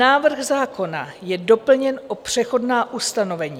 Návrh zákona je doplněn o přechodná ustanovení.